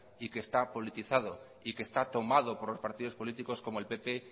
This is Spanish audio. y que está politizado y que está tomado por partidos políticos como el pp